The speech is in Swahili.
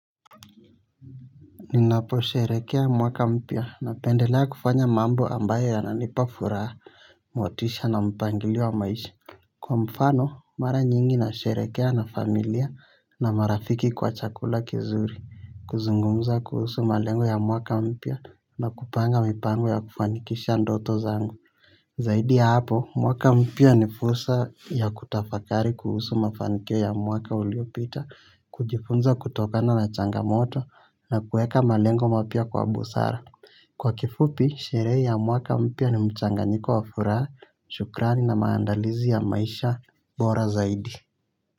Ninaposherehekea mwaka mpya napendelea kufanya mambo ambayo yananipafuraha motisha na mpangilio wa maisha. Kwa mfano mara nyingi na sherehekea na familia na marafiki kwa chakula kizuri, kuzungumza kuhusu malengo ya mwaka mpya na kupanga mipango ya kufanikisha ndoto zangu zaidi ya hapo, mwaka mpya ni fursa ya kutafakari kuhusu mafanikio ya mwaka uliopita, kujifunza kutokana na changamoto na kuweka malengo mapya kwa busara. Kwa kifupi, sherehe ya mwaka mpya ni mchanganyiko wa furaha, shukrani na maandalizi ya maisha, bora zaidi.